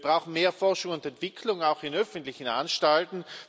Wir brauchen mehr Forschung und Entwicklung, auch in öffentlichen Anstalten.